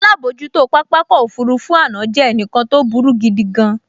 Alábojútó pápákọ̀ òfurufú àná jẹ́ ẹnìkan tó burú gidigan